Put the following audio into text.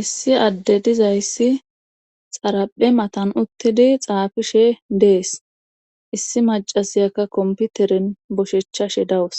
issi adde dizayssi xaraphe matan uttidi xaafishe dees issi macasiyakka komputeren boshechchashe dawus